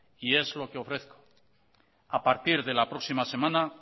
y es lo que ofrezco a partir de la próxima semana